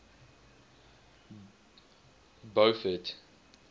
beaufort